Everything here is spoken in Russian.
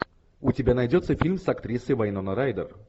у тебя найдется фильм с актрисой вайнона райдер